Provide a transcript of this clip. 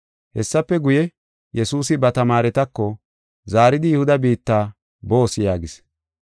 Hessafe guye, Yesuusi ba tamaaretako, “Zaaridi Yihuda biitta boos” yaagis.